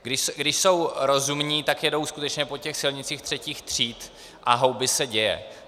Když jsou rozumní, tak jedou skutečně po těch silnicích třetích tříd a houby se děje.